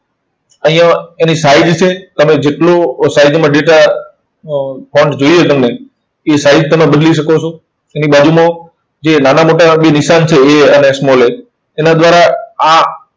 અહીંયા એની size છે. તમે જેટલો size માં data અર જોઈએ તમને, એ size તમે બદલી શકો છો. એની બાજુમાં જે નાના મોટા બે નિશાન છે, A અને small A એના દ્વારા આ